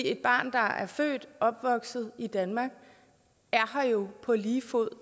et barn der er født og opvokset i danmark er her jo på lige fod